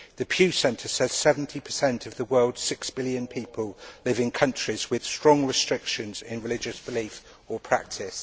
The Pew Centre says that 70 of the world's six billion people live in countries with strong restrictions on religious belief or practice.